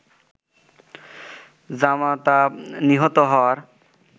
জামাতা নিহত হওয়ার